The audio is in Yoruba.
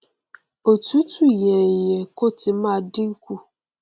òtútù yẹ yẹ kó ti máa dínkù